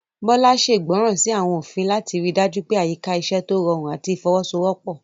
Bola ṣègbọràn sí àwọn òfin láti rí i dájú pé àyíká iṣẹ́ tó rọrùn àti ìfọwọ́sowọ́pọ̀.